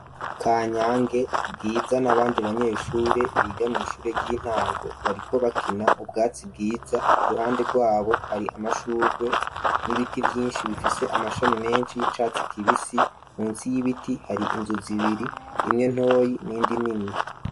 Ka nyange bwiza n'abandi banyeshure biga mw'ishure ry'intango bariko bakina mu bwatsi bwiza iruhande rwabo hari amashurwe n'ibiti vyinshi bifise amashami menshi y'icatsi kibisi munsi y'ibiti hari inzu zibiri imwe ntoyi nindi nini.